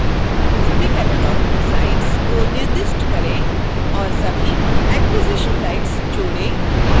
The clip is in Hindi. सभी cataloging rights को निर्दिष्ट केरं